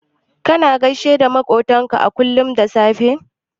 Kana gaishe da maƙwabtanka kullum da safe?